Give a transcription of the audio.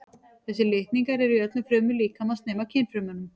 Þessir litningar eru í öllum frumum líkamans nema kynfrumunum.